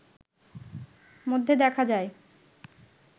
মধ্যে দেখা যায়